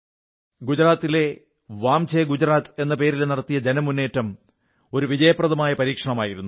ഗുജറാത്തിൽ വാംചേ ഗുജറാത്ത് എന്ന പേരിൽ നടത്തിയ ജനമുന്നേറ്റം ഒരു വിജയപ്രദമായ പരീക്ഷണമായിരുന്നു